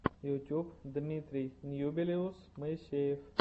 ютуб дмитрий ньюбилиус моисеев